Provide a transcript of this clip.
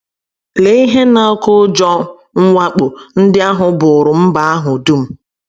Lee ihe na - oké ụjọ mwakpo ndị ahụ bụụrụ mba ahụ dum!